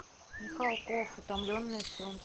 михалков утомленные солнцем